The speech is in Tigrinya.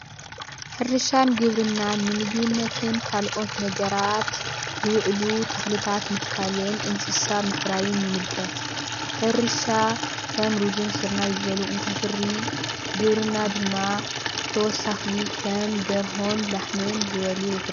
ሕርሻን ግብርናን ንምግብነትን ካልኦት ነገራትዝዉዕሉ ተኽልታት ምትካልን ፣ እንስሳ ምፍራይን ይምልከት። ሕርሻ ከም ሩዝን ስርናይ ዝበሉ እንተፍሪ ግብርና ድማ ተወሳኺ ከም ደርሆን ላሕምን ዝበሉ የፍሪ።